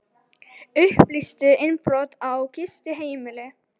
Upplýstu innbrot á gistiheimili